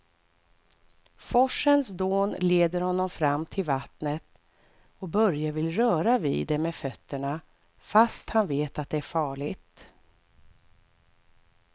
Forsens dån leder honom fram till vattnet och Börje vill röra vid det med fötterna, fast han vet att det är farligt.